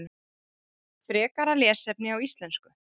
Frekara lesefni á íslensku: